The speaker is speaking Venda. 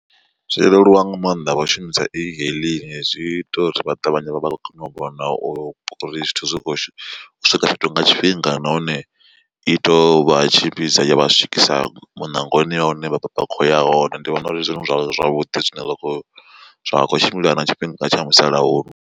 Zwo leluwa nga maanḓa vha shumisa e hailing zwi ita uri vha ṱavhanye vha vha kone u vhona uri zwithu zwi kho swika fhethu nga tshifhinga nahone i to vha tshimbidza ya vha swikisa muṋangoni ya hune vha khoya hone ndi vhona uri ndi zwone zwa zwavhuḓi zwine zwa kho tshimbila na tshifhinga tsha musalauno.